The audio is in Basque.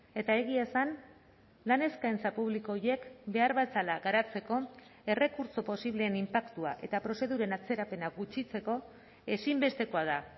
eta egia esan lan eskaintza publiko horiek behar bezala garatzeko errekurtso posibleen inpaktua eta prozeduren atzerapena gutxitzeko ezinbestekoa da